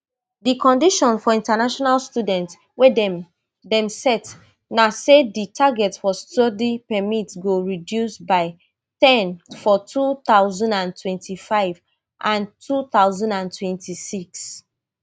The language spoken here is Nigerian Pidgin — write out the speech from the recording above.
di conditions for international students wey dem dem set na say di target for study permit go reduce by ten for two thousand and twenty-five and two thousand and twenty-six